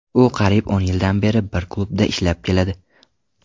U qariyb o‘n yildan beri bir klubda ishlab keladi.